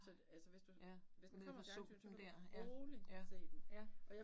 Nej, ja, nede fra sumpen dér, ja, ja, ja